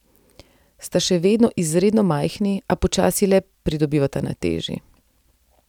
Sta še vedno izredno majhni, a počasi le pridobivata na teži.